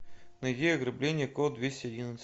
найди ограбление код двести одиннадцать